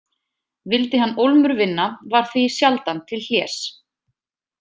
Vildi hann ólmur vinna var því sjaldan til hlés.